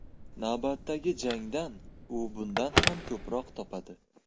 Navbatdagi jangdan u bundan ham ko‘proq topadi.